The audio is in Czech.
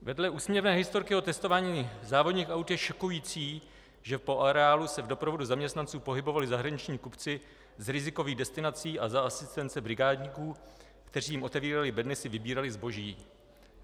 Vedle úsměvné historky o testování závodních aut je šokující, že po areálu se v doprovodu zaměstnanců pohybovali zahraniční kupci z rizikových destinací a za asistence brigádníků, kteří jim otevírali bedny, si vybírali zboží.